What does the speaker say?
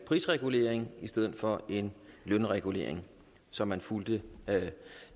prisregulering i stedet for lønregulering så man fulgte